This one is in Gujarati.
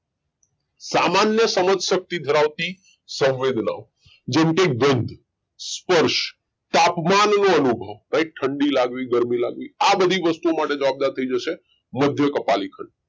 સામાન્ય સમજ શક્તિ ધરાવતી સંવેદનાઓ જેમકે ગંધ સ્પર્શ તાપમાન નો અનુભવ right ઠંડી લાગવી ગરમી લાગવી આ બધી વસ્તુ માટે જવાબદાર થઈ જશે મધ્ય કપાલી ખંડ